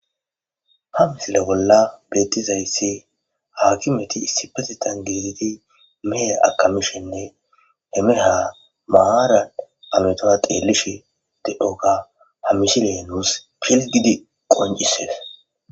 ha misile bolla beettizayssi haakkimeti issipesetan geezeti mehe akamishinne hemeraha mahaara ametoa deelishe de7oga hamishile nuus pil gidi qoncisees